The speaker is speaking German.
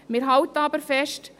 Wir halten aber fest: